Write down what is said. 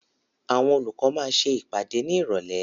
Àwọn olùkọ́ máa ṣe ìpàdé ní Ìrọ̀lẹ́.